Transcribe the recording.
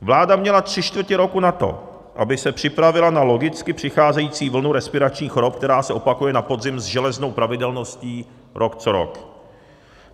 Vláda měla tři čtvrtě roku na to, aby se připravila na logicky přicházející vlnu respiračních chorob, která se opakuje na podzim s železnou pravidelností rok co rok.